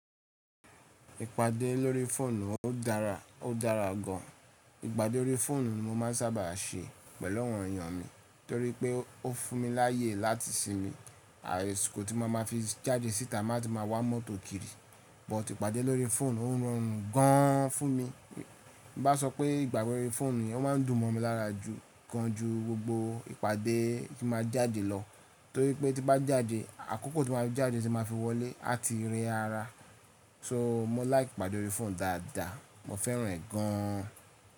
Ìpàdé lórí fóònù ó dára, ó dára gan. Ìpàdé lórí fóònù ni mo máa ń sábà ṣe pẹ̀lú àwọn èyàn mi torí pé ó fún mi láyè láti sinmi àsikó tí mo bá má fi jáàdí síta la tí màá wá mọ́to kiri Bút ìpàdé lórí fóònù orọrùn gan fún mi. Bí bá sọ pé ipade órí fóònù ye ó máa ń dùn mọ́ mi lára jù gan ju gbogbo ìpàdé tí màá jáde lọ torí pé tí bá jáde àkókò tí màá jáde tí màá fi wọlé á ti rẹ ara. So mo like ìpàdé órí fónù dáadáa, mo féràn rẹ̀ gan.